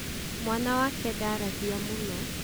mwana wake ndaaragia mũno?